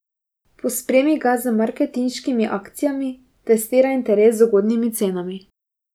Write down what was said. Pospremi ga z marketinškimi akcijami, testira interes z ugodnimi cenami.